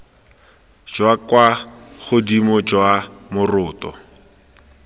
jwa kwa godimo jwa moroto